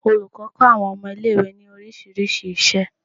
Olùkọ́ kó àwọn ọmọ ilé ìwé ní orísìírísìí isẹ